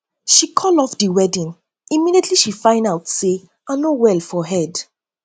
she call off the wedding immediately she find out say say i no well for head